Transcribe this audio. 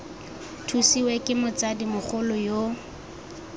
thusiwe ke motsadi mogolo yo